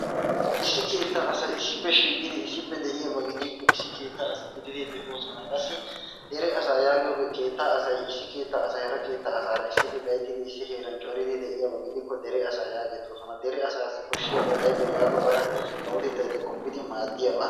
Issi keettaa asay issippe shiiqidi de'iyaba gidiyakko issi keettaa asata gididi de'oosona. Qassi dere asaa yaagiyogee keettaa asay issi keettaa asay hara keettaa asaara issippe gayittidi issi heeran coridi de'iyaba gidikko dere asaa yaagettoosona. dere asaassi koshshiyaabay ayibee yaagobare kawotettay eta qoppidi maaddiyaba.